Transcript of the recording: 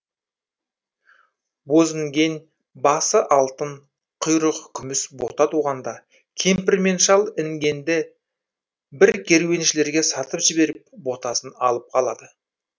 бозінген басы алтын құйрығы күміс бота туғанда кемпір мен шал інгенді бір керуеншілерге сатып жіберіп ботасын алып қалады